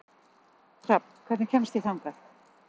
Hrafn, hvernig kemst ég þangað?